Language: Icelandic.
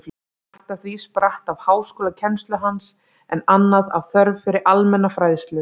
Margt af því spratt af háskólakennslu hans, en annað af þörf fyrir almenna fræðslu.